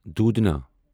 دودھنا